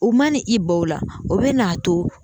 U mana i banw la o bɛna a to